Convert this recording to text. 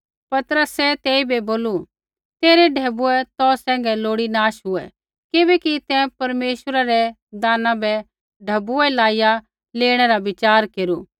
पतरसै तेइबै बोलू तेरै ढैबुऐ तौ सैंघै लोड़ी नाश हुऐ किबैकि तैं परमेश्वरै रै दाना बै ढैबुऐ लाइआ लेणै रा वचार केरू